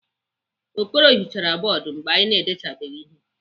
Okoro hichara bọọdụ mgbe anyị na-edechabeghị ihe.